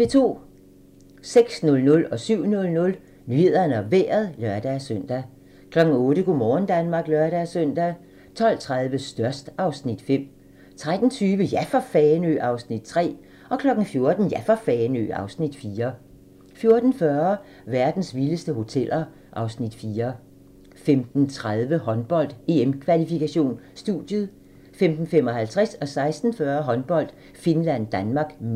06:00: Nyhederne og Vejret (lør-søn) 07:00: Nyhederne og Vejret (lør-søn) 08:00: Go' morgen Danmark (lør-søn) 12:30: Størst (Afs. 5) 13:20: Ja for Fanø! (Afs. 3) 14:00: Ja for Fanø! (Afs. 4) 14:40: Verdens vildeste hoteller (Afs. 4) 15:30: Håndbold: EM-kvalifikation - studiet 15:55: Håndbold: Finland-Danmark (m) 16:40: Håndbold: Finland-Danmark (m)